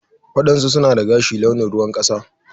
waɗansu suna dagashi launin ruwan kasa.